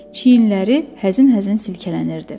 Çiyinləri həzin-həzin silkələnirdi.